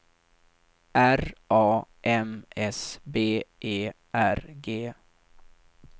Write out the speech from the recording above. R A M S B E R G